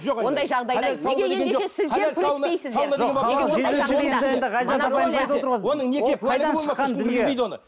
ондай жағдайда неге ендеше сіздер күреспейсіздер